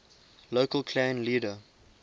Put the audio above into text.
local clan leader